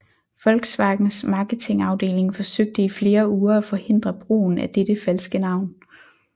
Volkswagens marketingafdeling forsøgte i flere uger at forhindre brugen af dette falske navn